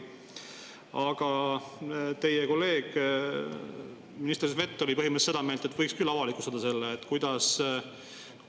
Aga teie kolleeg minister Svet oli põhimõtteliselt seda meelt, et võiks küll selle avalikustada.